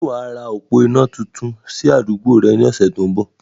Sé wàá ra òpó iná tuntun ní àdúgbò yẹn ní ọ̀sẹ̀ tó ń bọ̀?